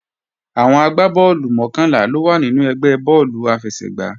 Àwọn agbá bọ́ọ̀lù mọ́kànlá ló wà nínú ẹgbẹ́ bọ́ọ̀lù àfẹsẹ̀gbá